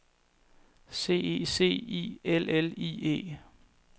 C E C I L L I E